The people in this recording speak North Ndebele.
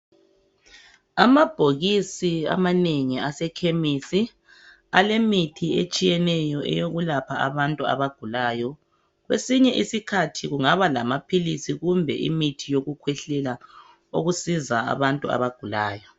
Amabhokisi amanengi ase kemisi alemithi etshiyeneyo eyokulapha abantu abagulayo kwesinye isikhathi kungaba lamaphilisi kumbe imithi yokukhwehlela okusiza abantu abagulayo.